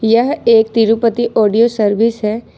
यह एक Tirupati audio service है।